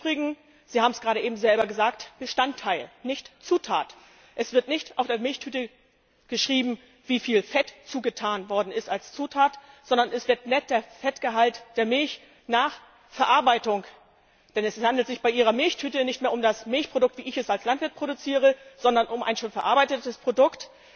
Im Übrigen Sie haben es gerade eben selber gesagt Bestandteil, nicht Zutat! Es wird nicht auf die Milchtüte geschrieben, wie viel Fett als Zutat zugetan worden ist, sondern angegeben wird der Fettgehalt der Milch nach Verarbeitung. Denn es handelt sich bei Ihrer Milchtüte nicht mehr um das Milchprodukt, wie ich es als Landwirt produziere, sondern um ein schon verarbeitetes Produkt,